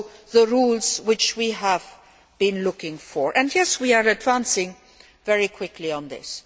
the rules we have been looking for and, yes, we are advancing very quickly on this.